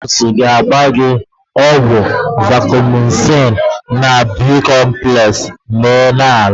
Nọọsụ ga-agba gị ọgwụ Vacomycin na Bi-complex ma Ị laa.